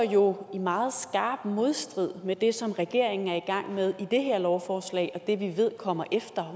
er jo i meget skarp modstrid med det som regeringen er i gang med i det her lovforslag og med det vi ved kommer efter